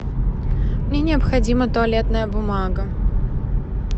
мне необходима туалетная бумага